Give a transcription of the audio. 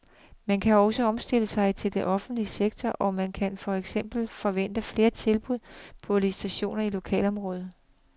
Man skal også omstille sig i den offentlige sektor, og man kan for eksempel forvente flere tilbud på licitationer i lokalområder.